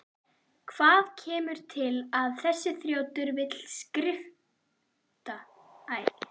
Hvað kemur til að þessi þrjótur vill skrifta?